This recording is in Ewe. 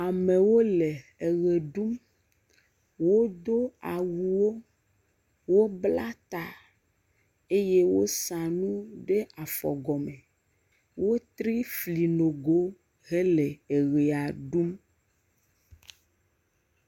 Amewo le eʋe ɖum. Wodo awuwo, wobla ta eye wosa nu ɖe afɔgɔme. Wotre fli nogowo hele eʋea ɖum.